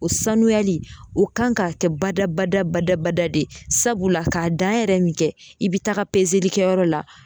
O sanuyali o kan ka kɛ badabada badabada de ye sabula k'a dan yɛrɛ min kɛ i be taga pezelikɛyɔrɔ la